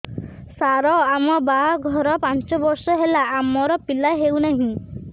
ସାର ଆମ ବାହା ଘର ପାଞ୍ଚ ବର୍ଷ ହେଲା ଆମର ପିଲା ହେଉନାହିଁ